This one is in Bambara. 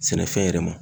Sɛnɛfɛn yɛrɛ ma